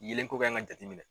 Yelen ko kan ka jateminɛ.